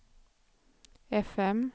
fm